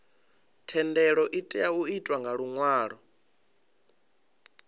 thendelo itea u itwa nga luṅwalo